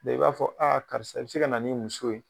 Sisan i b'a fɔ karisa i se ka na n'i muso ye